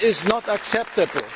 That is not acceptable.